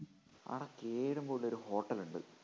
ആ കേറുമ്പോ ഉള്ളൊരു ഹോട്ടലുണ്ട്